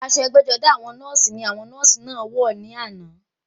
Aṣọ ẹgbẹ́-jọdá àwọn nọ́ọ̀sì ní àwọn nọ́ọ̀sì náà wà ní àná.